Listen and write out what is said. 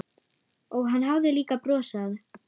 Og hann hafði líka brosað.